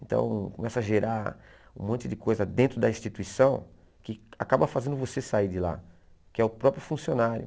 Então começa a gerar um monte de coisa dentro da instituição que acaba fazendo você sair de lá, que é o próprio funcionário.